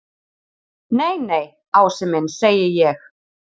Nei, nei, Ási minn segi ég.